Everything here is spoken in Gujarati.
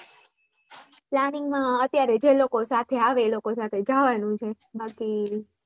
planning માં અત્યારે જે લોકો સાથે આવે એ લોકો સાથે જવાનું છે બાકી